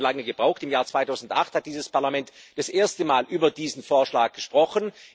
Wir haben jetzt schon lange gebraucht. Im Jahr 2008 hat dieses Parlament zum ersten Mal über diesen Vorschlag gesprochen.